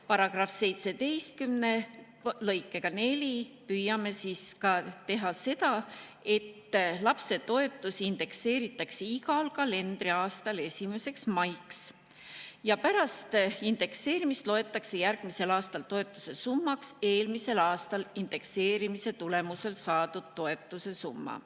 Paragrahv 17 lõikega 4 püüame teha nii, et lapsetoetus indekseeritakse igal kalendriaastal 1. maiks ja pärast indekseerimist loetakse järgmisel aastal toetuse summaks eelmisel aastal indekseerimise tulemusel saadud toetuse summa.